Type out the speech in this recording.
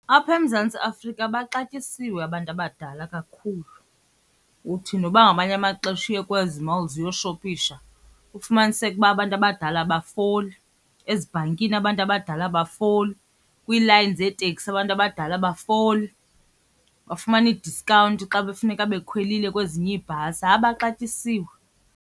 Apha eMzantsi Afrika baxatyisiwe abantu abadala kakhulu. Uthi noba ngamanye amaxesha uye kwezi malls uyoshopisha ufumaniseke uba abantu abadala abafoli, ezibhankini abantu abadala abafoli, kwiilayini zeeteksi abantu abadala abafoli, bafumana ii-discount xa befuneka bekhwelile kwezinye iibhasi. Hayi, baxatyisiwe.